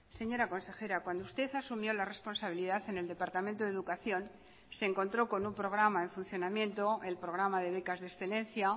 señora consejera cuando usted asumió la responsabilidad en el departamento de educación se encontró con un programa en funcionamiento el programa de becas de excelencia